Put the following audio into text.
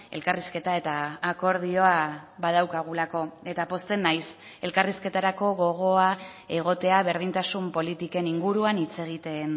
elkarrizketa eta akordioa badaukagulako eta pozten naiz elkarrizketarako gogoa egotea berdintasun politiken inguruan hitz egiten